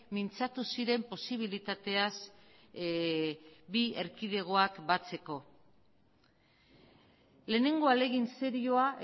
mintzatu ziren posibilitateaz bi erkidegoak batzeko lehenengo ahalegin serioa